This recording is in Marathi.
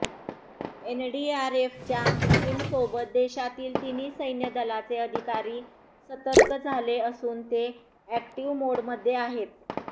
एनडीआरएफच्यी टीमसोबत देशातील तिन्ही सैन्य दलाचे अधिकारी सतर्क झाले असून ते अॅक्टीव मोडमध्ये आहेत